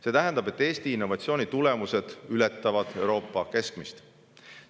See tähendab, et Eesti innovatsiooni tulemused ületavad Euroopa keskmist.